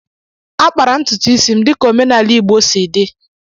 A kpara ntutu isi m dika omenala igbo si di